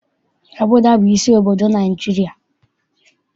Abụja bụ isi obodo Naịjirịa.